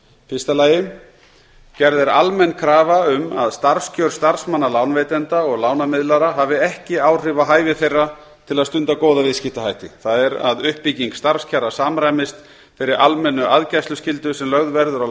fyrsta gerð er almenn krafa um að starfskjör starfsmanna lánveitenda og lánamiðlara hafi ekki áhrif á hæfi þeirra til að stunda góða viðskiptahætti það er að uppbygging starfskjara samræmist þeirri almennu aðgæsluskyldu sem lögð verður á